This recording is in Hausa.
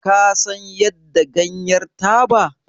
Kasan yadda ganyar taba?